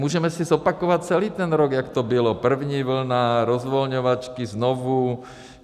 Můžeme si zopakovat celý ten rok, jak to bylo, první vlna, rozvolňovačky, znovu.